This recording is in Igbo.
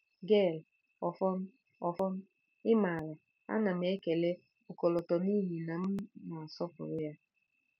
Gail: Ọfọn. Ọfọn, ị maara, a na m ekele ọkọlọtọ n'ihi na m na-asọpụrụ ya.